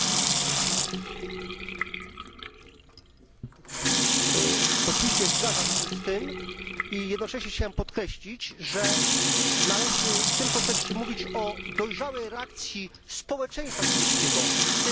Oczywiście zgadzam się z tym i jednocześnie chciałbym podkreślić, że należy w tym kontekście mówić o dojrzałej reakcji społeczeństwa hinduskiego, w tym wielu tysięcy kobiet, które wyszły na ulice, oraz także